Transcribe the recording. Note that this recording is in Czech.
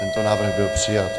Tento návrh byl přijat.